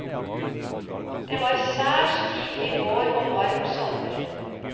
Det var særs tidlig vår og varm sommer.